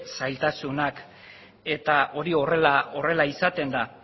zailtasunak eta hori horrela izaten da